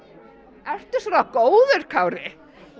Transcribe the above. ertu svona góður Kári